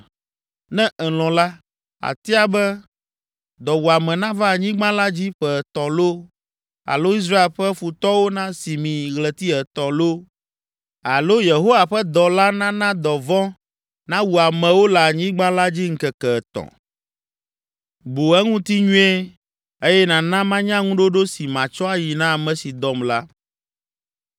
Ne èlɔ̃ la, àtia be dɔwuame nava anyigba la dzi ƒe etɔ̃ loo, alo Israel ƒe futɔwo nasi mi ɣleti etɔ̃ loo alo Yehowa ƒe dɔla nana dɔvɔ̃ nawu amewo le anyigba la dzi ŋkeke etɔ̃. Bu eŋuti nyuie eye nàna manya ŋuɖoɖo si matsɔ ayi na ame si dɔm la.’ ”